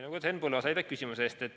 Lugupeetud Henn Põlluaas, aitäh küsimuse eest!